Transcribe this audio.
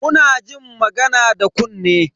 Muna jin magana da kunne.